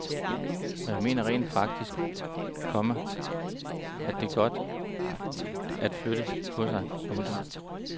Og jeg mener rent faktisk, komma at det er godt at flytte på sig. punktum